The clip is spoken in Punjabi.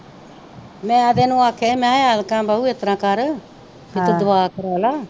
ਮੈ ਤੇ ਇਹਨੂੰ ਆਖਿਆ ਹੀ ਮੈ ਕਿਹਾ ਐਤਕਾਂ ਬਾਊ ਇਸਤਰਾਂ ਕਰ ਪੀ ਤੂੰ ਦੁਆ ਕਰਾਲਾ।